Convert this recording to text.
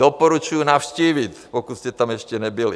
Doporučuji navštívit, pokud jste tam ještě nebyli.